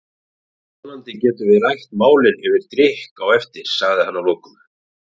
Vonandi getum við rætt málin yfir drykk á eftir, sagði hann að lokum.